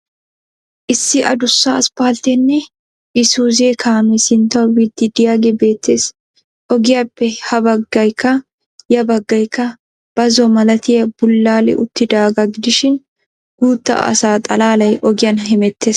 Issi addussa aspaltteenne isuuze kaamee sinttawu biid diyaagee beettees. Ogiyappe ha baggaykka ya baggaykka bazzo malatiya bulaali uttidaagaa gidishin guutta asaa xalaalay ogiyan hemettees.